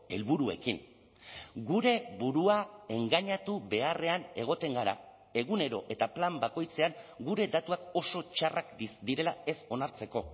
helburuekin gure burua engainatu beharrean egoten gara egunero eta plan bakoitzean gure datuak oso txarrak direla ez onartzeko